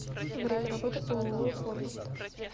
время работы ооо форвард